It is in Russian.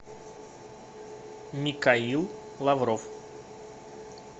михаил лавров